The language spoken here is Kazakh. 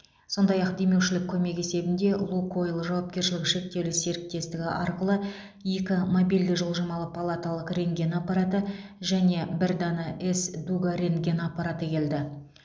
сондай ақ демеушілік көмек есебінде лукойл жауапкершілігі шектеулі серіктестігі арқылы екі мобильді жылжымалы палаталық рентген аппараты және бір дана с дуга рентген аппараты келді